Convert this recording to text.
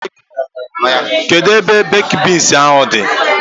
Kedụ ebe bakid beans ahụ dị?